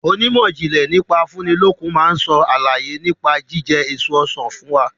Onímọ̀jìnlẹ̀ nípa afúnilókun máa sọ àlàyé nípa jíjẹ èso Ọsàn fún wa.